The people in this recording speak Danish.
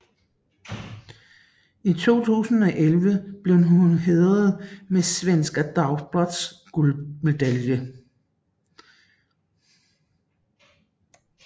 I 2011 blev hun hædret med Svenska Dagbladets guldmedalje